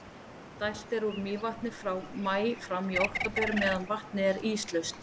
dælt er úr mývatni frá maí fram í október meðan vatnið er íslaust